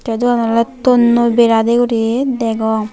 tey doanan oley tonnoi bera dey guri degong.